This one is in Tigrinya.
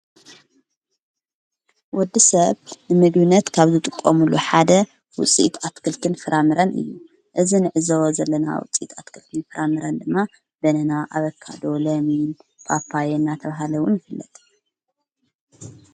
ወዲ ሰብ ንምድዩነት ካብ ዝ ጥቆሙሉ ሓደ ውፂት ኣትክልክን ፍራምረን እዩ እዝ ንዕዘወ ዘለና ውፂጥ ኣትክልክን ፍራምረን ድማ በነና ኣበካዶ ለየምን ጳጳየ እናተብሃለውን ይፍለጥ።